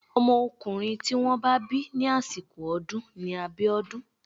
Ọmọkùnrin tí wọ́n bá bí ní àsìkò ọdún ni Abiodun.